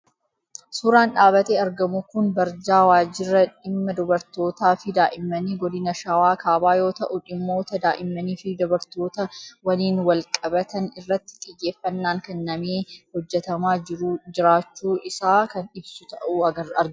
Suuraan dhaabatee argamu kun barjaa Waajjira Dhimma Dubartootaa fi Daa'immanii Godina Shawaa Kaabaa yoo ta'u, dhimmoota daa'immanii fi dubartoota waliin wal-qabatan irratti xiyyeeffannaan kennamee hojjetamaa jiraachuu isaa kan ibsu ta'uu argina.